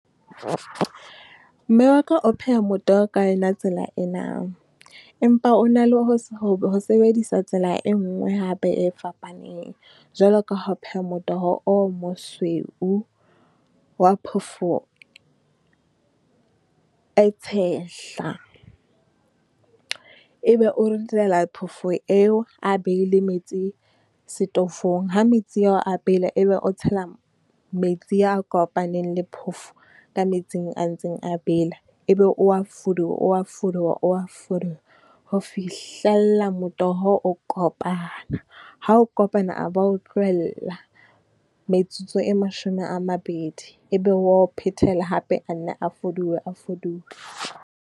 Mme wa ka o pheha motoho ka yona tsela ena, empa o na le ho , ho sebedisa tsela e nngwe hape e fapaneng, jwalo ka ha o pheha motoho o mosweu wa phofo e tshehla. E be o ritela phofo eo, a behile metsi setofong, ha metsi ao a bela, e be o tshela metsi a kopaneng le phofo ka metsing a ntseng a bela. E be o wa fuduwa, o wa fuduwa, o wa fuduwa ho fihlella motoho o kopana. Ha o kopana a ba o tlohella metsotso e mashome a mabedi, e be wa o phethela hape a nne a fuduwe a foduwe.